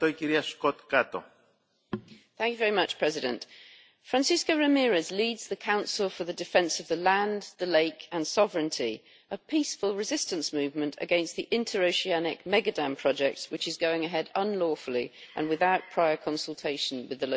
Mr President, Francesca Ramirez leads the Council for the Defence of the Land, the Lake and Sovereignty, a peaceful resistance movement against the interoceanic mega dam project which is going ahead unlawfully and without prior consultation with the local community.